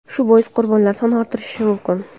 Shu bois qurbonlar soni ortishi mumkin.